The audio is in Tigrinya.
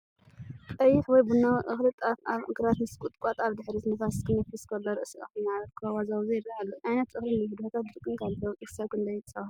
ቀይሕ ወይ ቡናዊ እኽሊ/ጣፍ ኣብ ግራት ምስ ቁጥቋጥ ኣብ ድሕሪት፣ ንፋስ ክነፍስ ከሎ ርእሲ እኽሊ ማዕበል ከወዛውዞ ይረአ ኣሎ። ዓይነት እኽሊ ንብድሆታት ድርቅን ካልእ ለውጢ ክሳብ ክንደይ ይጻወር?